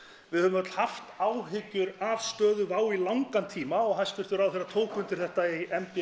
við höfum öll haft áhyggjur af stöðu WOW í langan tíma og hæstvirtur ráðherra tók undir þetta í